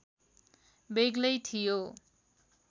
बेग्लै थियो